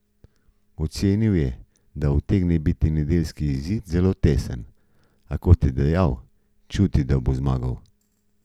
Ocenil je, da utegne biti nedeljski izid zelo tesen, a, kot je dejal, čuti, da bo zmagal.